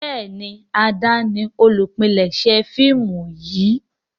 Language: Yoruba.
Béèni Ade ní olùpilèsè fíìmù yí.